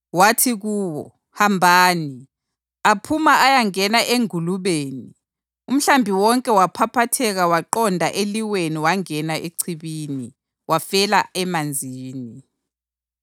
Wathi kuwo, “Hambani!” Aphuma ayangena engulubeni, umhlambi wonke waphaphatheka waqonda eliweni wangena echibini, wafela emanzini.